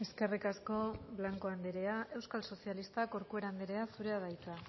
eskerrik asko blanco anderea euskal sozialistak corcuera anderea zurea da hitza